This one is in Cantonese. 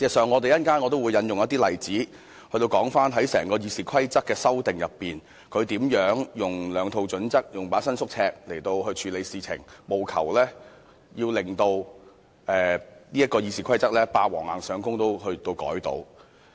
我稍後也會引述例子，說明在整個修訂《議事規則》的過程中，他如何使用兩套準則、一把伸縮尺來作出處理，務求以"霸王硬上弓"的方式修改《議事規則》。